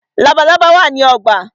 Labalábá wá ní ogbà.